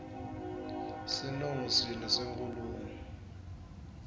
sinongo sini senkhulumo